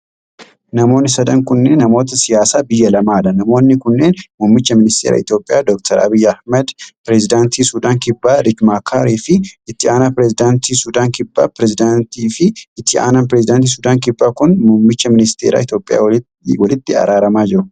Namoonni sadan kunneen namoota siyaasa biyya lamaa dha. Namoonni kunneen :muummicha ministeeraa Itoophiyaa Doktar Abiyyi Ahimad, pireezidantii Sudaan Kibbaa Riich Maakaar fi itti aanaa pireezidantii Sudaan Kibbaa dha. Pireezidantiin fi itti aanaan pireezidantii Sudaan Kibbaa kun, muummicha mineesteeraa Itoophiyaan walitti araaramaa jiru.